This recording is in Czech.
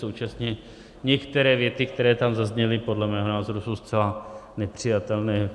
Současně některé věty, které tam zazněly, podle mého názoru jsou zcela nepřijatelné.